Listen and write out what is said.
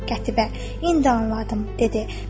Qətibə, indi anladım, dedi.